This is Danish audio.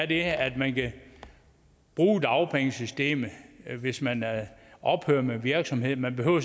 det at man kan bruge dagpengesystemet hvis man ophører med en virksomhed man behøver